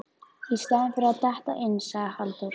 Í staðinn fyrir að detta inn, sagði Halldór.